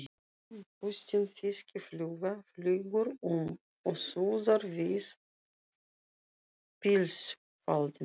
Bústin fiskifluga flýgur um og suðar við pilsfaldinn.